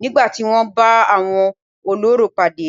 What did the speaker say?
nígbà tí wọ́n bá àwọn olórò pàdé.